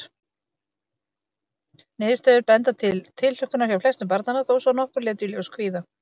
Niðurstöður benda til tilhlökkunar hjá flestum barnanna, þó svo að nokkur létu í ljósi kvíða.